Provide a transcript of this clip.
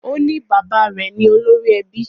O ní bàbá rẹ̀ ni olórí ẹbí